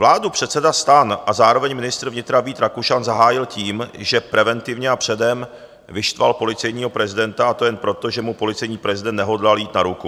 Vládu předseda STAN a zároveň ministr vnitra Vít Rakušan zahájil tím, že preventivně a předem vyštval policejního prezidenta, a to jen proto, že mu policejní prezident nehodlal jít na ruku.